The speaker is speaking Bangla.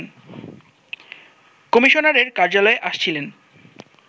কমিশনারের কার্যালয়ে আসছিলেন